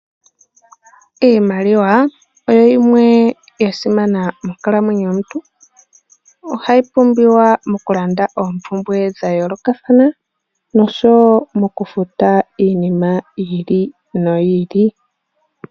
Iimaliwa oyo yimwe ya simana monkalamwenyo yomuntu. Ohayi pumbiwa mokulanda oompumbwe dha yoolokathana nosho wo okufuta iinima yi ili noyi ili.